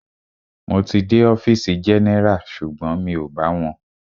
Mo ti dé ọfìsì general sugbon mi o bá wọn.